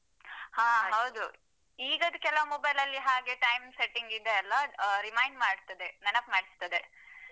ಹಾ ಹೌದು ಇಗದು ಕೆಲವ್ mobile ಲ್ಲಿ ಹಾಗೆ time setting ಇದೆಯಲ್ಲಾ ಅಹ್ remind ಮಾಡ್ತದೆ ನೆನಪ್ ಮಾಡ್ತದೆ.